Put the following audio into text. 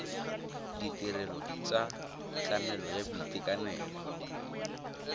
ditirelo tsa tlamelo ya boitekanelo